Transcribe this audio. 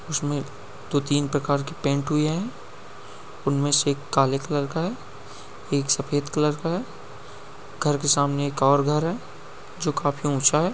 उसमें दो तीन प्रकार की पेंट हुई है। उनमें से एक काले कलर का है एक सफेद कलर का है। घर के सामने एक ओर घर है जो काफी ऊंचा है।